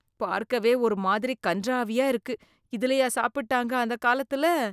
பார்க்கவே ஒரு மாதிரி கண்றாவியா இருக்கு. இதுலயா சாப்பிட்டாங்க, அந்த காலத்துல.